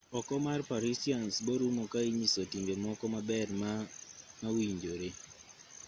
oko mar parisians borumo ka inyiso timbe moko maber ma ma owinjore